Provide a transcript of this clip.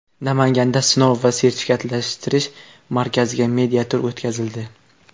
Namanganda Sinov va sertifikatlashtirish markaziga media-tur o‘tkazildi.